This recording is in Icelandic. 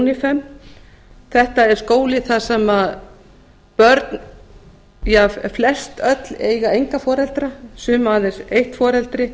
merki unifem þetta er skóli þar sem flestöll börnin eiga enga foreldra sum aðeins eitt foreldri